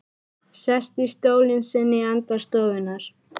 Sest í stólinn sinn í enda stofunnar.